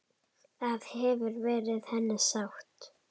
Það hefur verið henni sárt.